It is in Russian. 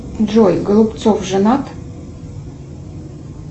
джой голубцов женат